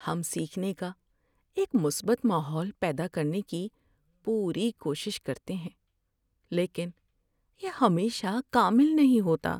ہم سیکھنے کا ایک مثبت ماحول پیدا کرنے کی پوری کوشش کرتے ہیں، لیکن یہ ہمیشہ کامل نہیں ہوتا۔